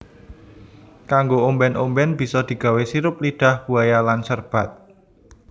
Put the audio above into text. Kanggo omben omben bisa digawe sirup lidah buaya lan serbat